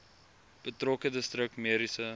betrokke distrik mediese